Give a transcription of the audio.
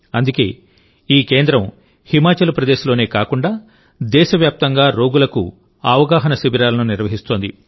అందుకేఈ కేంద్రం హిమాచల్ ప్రదేశ్లోనే కాకుండా దేశవ్యాప్తంగా రోగులకు అవగాహన శిబిరాలను నిర్వహిస్తోంది